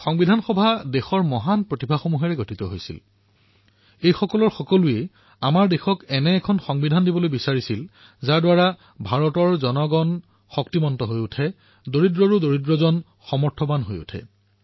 সংবিধান সভা দেশৰ মহান ব্যক্তিসকলৰ প্ৰতিভাৰ সংগম আছিল তেওঁলোকৰ প্ৰত্যেকেই দেশক এনেকুৱা এক সংবিধান প্ৰদান কৰিবলৈ প্ৰতিশ্ৰুতিবদ্ধ আছিল যাৰ দ্বাৰা ভাৰতৰ লোক সশক্ত হব পাৰে দৰিদ্ৰতকৈও দৰিদ্ৰতম ব্যক্তি সমৰ্থ হব পাৰে